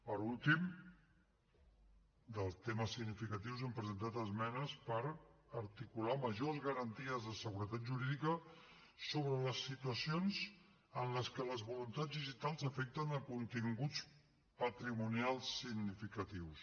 per últim dels temes significatius hem presentat esmenes per articular majors garanties de seguretat jurídica sobre les situacions en les que les voluntats digitals afecten continguts patrimonials significatius